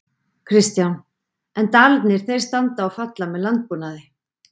Kristján: En Dalirnir þeir standa og falla með landbúnaði?